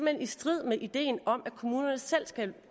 hen i strid med ideen om at kommunerne selv skal